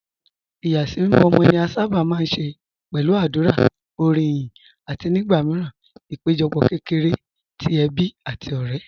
Ìyàsímímọ́ ọmọ ni a sábà máa ń ṣe pẹ̀lú àdúrà, orin ìyìn, àti nígbà míràn àpéjọpọ̀ kékeré ti ẹbí àti ọ̀rẹ́.